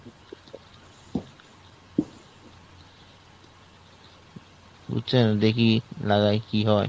চাষীর বেপক উন্নয়ণ হয়েছে দেখেন না